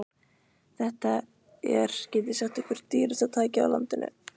Þetta er, get ég sagt ykkur, dýrasta tækið á landinu.